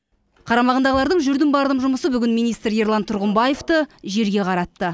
қарамағындағылардың жүрдім бардым жұмысы бүгін министр ерлан тұрғымбаевты жерге қаратты